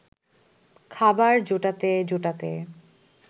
খাবার জোটাতে জোটাতে